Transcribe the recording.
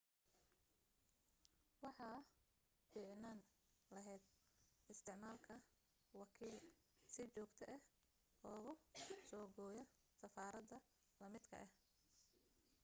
waxa fiicnaan lahayd isticmaalka wakiil si joogto ah kuugu soo gooya safarada la midka ah